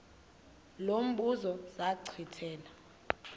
lo mbuzo zachithela